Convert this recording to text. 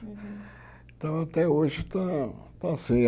Então até hoje está está assim.